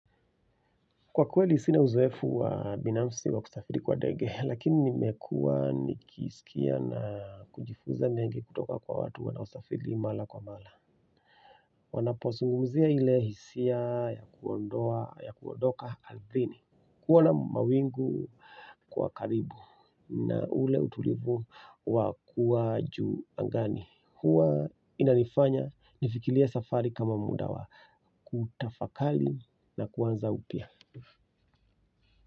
Kwa kweli sina uzoefu wa binafsi wa kusafiri kwa ndege, lakini nimekuwa nikisikia na kujifuza mengi kutoka kwa watu wanaosafiri mara kwa mara. Wanapozungumzia ile hisia ya kuondoka ardhini. Kuona mawingu kwa karibu na ule utulivu wakuwa juu angani. Huwa inanifanya nifikirie safari kama muda wa, kutafakari na kuanza upya.